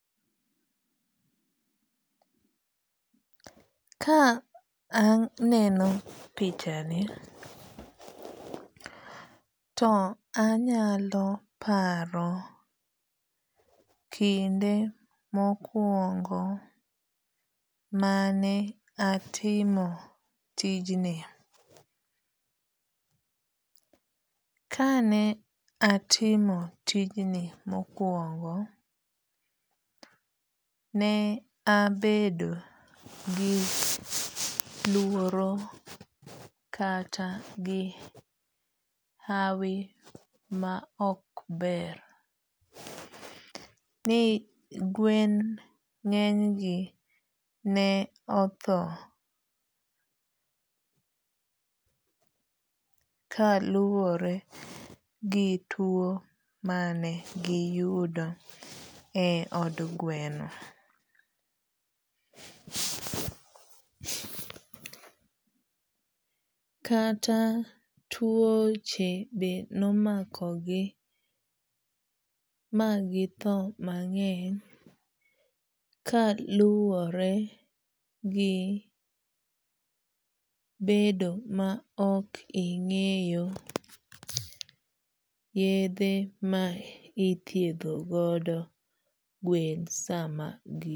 Ka aneno picha ni to anyalo paro kinde mokwongo mane atimo tijni. Kane atimo tijni mokwongo ne abedo gi luoro kata gi hawi ma ok ber,. Ni gwen ng'eny gi ne otho kaluwore gi tuo mane giyudo e od gweno, Kata tuoche be nomako gi ma githo mang'eny ka luwore gi bedo ma ok ing'eyo yedhe ma ithiedho godo gwen sama